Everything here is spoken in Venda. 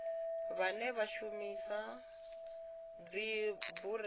vhane vha shumisa dzibureiḽi kana